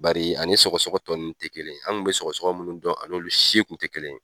Bari a ni sɔgɔsɔgɔ tɔ nunnu te kelen . An kun be sɔgɔsɔgɔ munnu dɔn , a n'olu si kun te kelen ye.